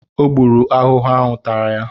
Ọ gbụrụ ahụhụ tara ya